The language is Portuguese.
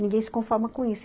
Ninguém se conforma com isso.